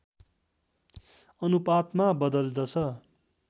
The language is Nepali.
अनुपातमा बदल्दछ